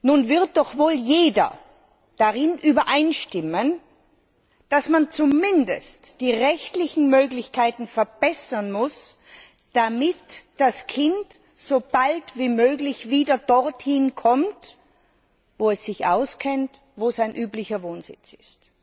Nun wird doch wohl jeder darin übereinstimmen, dass man zumindest die rechtlichen Möglichkeiten verbessern muss, damit das Kind so bald wie möglich wieder dorthin kommt, wo es sich auskennt und wo sein üblicher Wohnsitz ist.